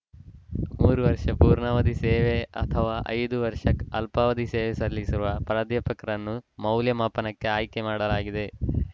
ಮೂರು ವರ್ಷ ಪೂರ್ಣಾವಧಿ ಸೇವೆ ಅಥವಾ ಐದು ವರ್ಷ ಅಲ್ಪಾವಧಿ ಸೇವೆ ಸಲ್ಲಿಸಿರುವ ಪ್ರಾಧ್ಯಾಪಕರನ್ನು ಮೌಲ್ಯಮಾಪನಕ್ಕೆ ಆಯ್ಕೆ ಮಾಡಲಾಗಿದೆ